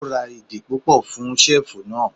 O ra ìdè púpọ̀ fún ṣẹ́ẹ̀fù náà.